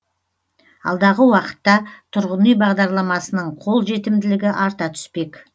алдағы уақытта тұрғын үй бағдарламасының қолжетімділігі арта түспек